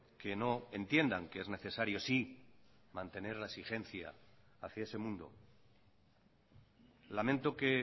que no entiendan que es necesario sí mantener la exigencia hacía ese mundo lamento que